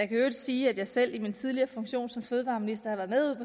i øvrigt sige at jeg selv i min tidligere funktion som fødevareminister har været med